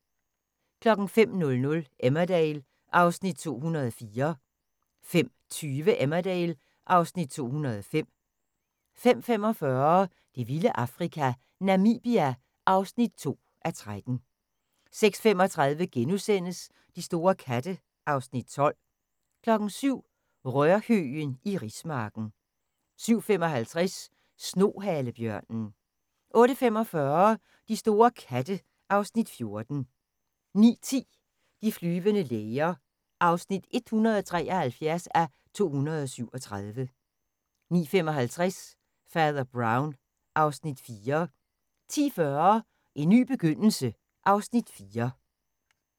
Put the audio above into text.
05:00: Emmerdale (Afs. 204) 05:20: Emmerdale (Afs. 205) 05:45: Det vilde Afrika - Namibia (2:13) 06:35: De store katte (Afs. 12)* 07:00: Rørhøgen i rismarken 07:55: Snohalebjørnen 08:45: De store katte (Afs. 14) 09:10: De flyvende læger (173:237) 09:55: Fader Brown (Afs. 4) 10:40: En ny begyndelse (Afs. 4)